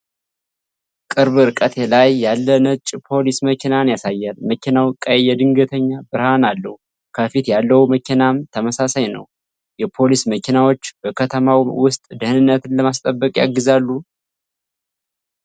ቅርብ ርቀት ላይ ያለ ነጭ ፖሊስ መኪናን ያሳያል። መኪናው ቀይ የድንገተኛ ብርሃን አለው። ከፊት ያለው መኪናም ተመሳሳይ ነው። የፖሊስ መኪናዎች በከተማው ውስጥ ደኅንነትን ለማስጠበቅ ያግዛሉ?